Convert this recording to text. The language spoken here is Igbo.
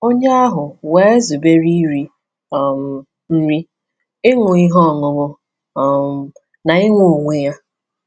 Onye ahụ wee zubere iri um nri, ịṅụ ihe ọṅụṅụ, um na inwe onwe ya.